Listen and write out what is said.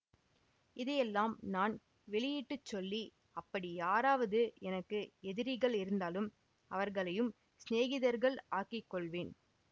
இதையெல்லாம் நான் வெளியிட்டு சொல்லி அப்படி யாராவது எனக்கு எதிரிகள் இருந்தாலும் அவர்களையும் சிநேகிதர்கள் ஆக்கிக் கொள்வேன்